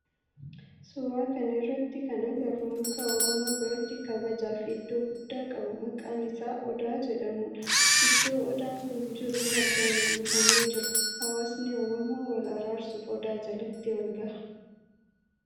Suuraa kana irratti kan agarru muka oromoo biratti kabajaa fi iddoo guddaa qabu maqaan isaa Odaa jedhamudha. Iddoo Odaan kun jiru margaan uwwifamee jira. Hawaasni oromoo wal araarsuf Odaa jalatti walgaha.